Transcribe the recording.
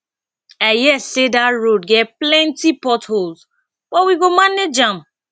i hear sey dat road get plenty port holes but we go manage am